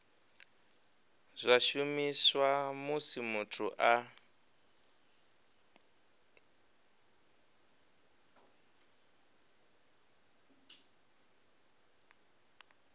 zwa shumiswa musi muthu a